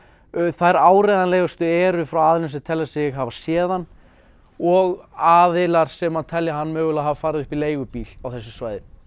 þær áreiðanlegustu eru frá aðilum sem telja sig hafa séð hann og aðilar sem telja hann mögulega hafa farið upp í leigubíl á þessu svæði